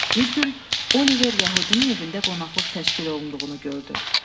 Bir gün Oliver yəhudinin evində qonaqlıq təşkil olunduğunu gördü.